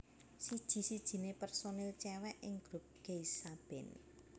Siji sijine personil cewek ing grup Geisha band